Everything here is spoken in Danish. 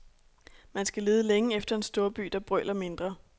Man skal lede længe efter en storby, der brøler mindre.